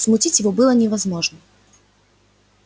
смутить его было невозможно